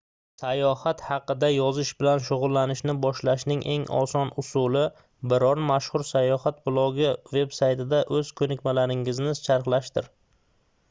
sayohat haqida yozish bilan shugʻullanishni boshlashning eng oson usuli biror mashhur sayohat blogi veb-saytida oʻz koʻnikmalaringizni charxlashdir